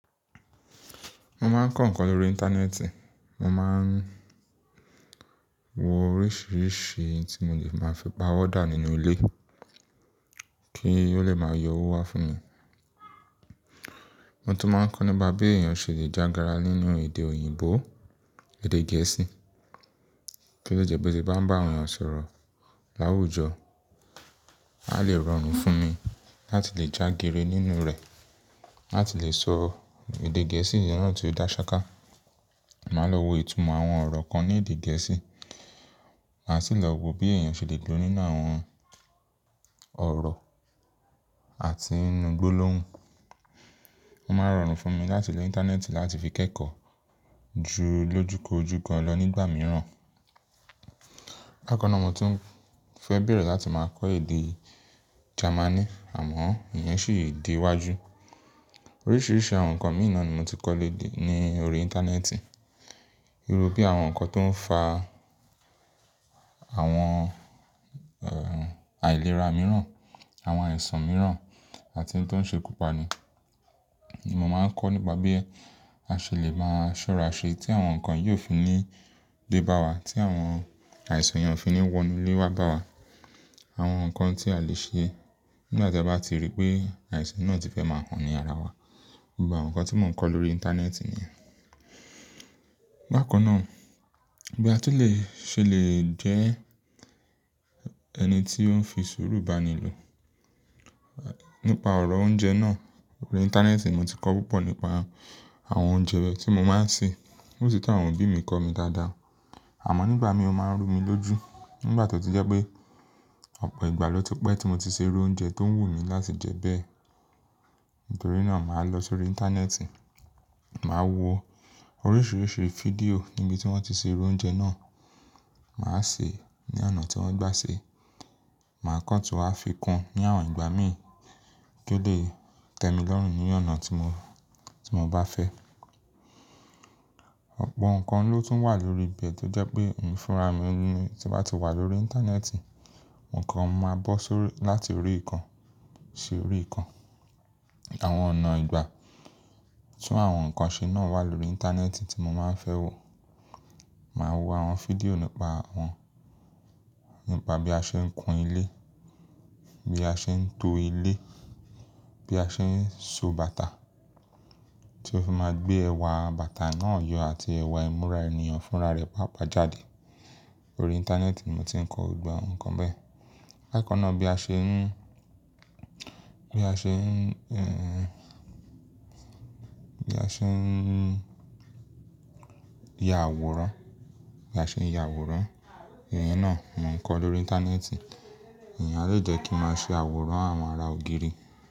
Mo máa ń kọ́ nǹkan lórí íńtánẹ́ẹ̀tì. Mo máa ń wo oríṣìíríṣìí tí mo lè máa fi pa wọ́dà nínú ilé kí ó lè máa yọ owó wá fún mi. Mo tún máa ń kọ́ nípa bí èèyàn ṣe lè jágara nínú èdè òyìnbó, èdè gẹ̀ẹ́sì. Kí ló jẹ pé tí bá ń bá àwọn èèyàn sọ̀rọ̀ láwùjọ, a lè rọrùn fún mi láti lè jágeere nínú rẹ̀, láti lè sọ èdè gẹ̀ẹ́sì yẹn náà tó dá ṣaká. Màá lọ wo itùúmọ̀ àwọn ọ̀rọ̀ kan ní èdè gẹ̀ẹ́sì. Màá sì lọ wo bí èèyàn ṣe lè gbó nínú àwọn ọ̀rọ̀ àti inú gbólóhùn. Oo máa rọrùn fún mi láti lo íńtánẹ́ẹ̀tì láti fi kẹ́kọ̀ọ́ ju ló jù kojú gan lọ nígbà mìíràn. Bákana náà mo tún fẹ́ bẹ̀rẹ̀ láti máa kọ́ èdè Jamani àmọ́ ìyẹn sì di wájú. Oríṣìíríṣìí àwọn nǹkan mìí na ni mo ti kọ́ ní orí íńtánẹ́ẹ̀tì. Irú bí àwọn nǹkan tó ń fa àwọn, àìlera mìíràn, àwọn àìsàn mìíràn àti ohun tó ń ṣe kúpa ni. Mo máa ń kọ́ nípa bí a ṣe lè máa ṣọ́ra ṣe tí àwọn nǹkan yí oò fi ní dé bá wa, tí àwọn àìsàn yẹn ó fi ní wọ inú ilé wa bá wa. Àwọn nǹkan tí a lè ṣe nígbà tí a bá ti rí pé àìsàn náà ti fẹ́ máa hán ní ara wa. Gbogbo àwọn nǹkan tí mò ń kọ́ lórí íńtánẹ́ẹ̀tì nìyẹn. Bákana náà, bí a tún lè ṣe lè jẹ ẹni tí ó ń fi sùúrù bá ni lò. Nípa ọ̀rọ̀ oúnjẹ náà, orí íńtánẹ́ẹ̀tì mo ti kọ́ púpọ̀ nípa àwọn oúnjẹ wẹ́ tí mo máa ń sè. Ó sì tún àwọn òbí mi kọ́ mi dáadáa. Àmọ́ nígbà mìí oo máa ń rú mi lójú nígbà tó ti jẹ́ pé ọ̀pọ̀ ìgbà ló ti pẹ́ tí mo ti ṣe irú oúnjẹ tó ń wù mí láti jẹ bẹ́ẹ̀. Nítorí náà màá lọ sórí íńtánẹ́ẹ̀tì, màá wo oríṣìíríṣìí fídíò níbi tí wọ́n ti ṣe irú oúnjẹ náà. Màá sè ní ọ̀nà tí wọ́n gbá ṣe, màá kọ́ ọ́ tún wàá fi kun ní àwọn ìgbà míì kí ó lè tẹ́mi lọ́rùn ní ọ̀nà tí mo, tí mo bá fẹ́. Ọ̀pọ̀ nǹkan ló tún wà lórí ibẹ̀ tó jẹ́ pé èmi fún ara mi ni tí n ba ti wà lórí íńtánẹ́ẹ̀tì. Ǹkan máa bọ́ sórí láti orí ìkan sí orí ìkan. Àwọn ọ̀nà ìgbà tí àwọn nǹkan ṣe náà wà lórí íńtánẹ́ẹ̀tì tí mo máa ń fẹ́ wo. Màá wo àwọn fídíò nípa wọn. Nípa bí a ṣe ń kun ilé, bí a ṣe ń to ilé, bí a ṣe ń so bàtà tí ó fi máa gbé ẹwà bàtà náà yọ àti ẹwà ìmúra ènìyàn fúnra rẹ̀ pàápàá jáde. Orí íńtánẹ́ẹ̀tì mo ti ń kọ́ gbogbo àwọn nǹkan bẹ́ẹ̀. Láìpẹ́ náà bí a ṣe ń, bí a ṣe ń, ẹ́, bí a ṣe ń ya àwòrán, bí a ṣe ń ya àwòrán, ìyẹn náà mo ń kọ́ lórí íńtánẹ́ẹ̀tì. Ìyẹn a lè jẹ́ kí n máa ṣe àwòrán àwọn ara ògiri.